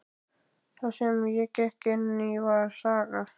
Það sem ég gekk inn í var saga.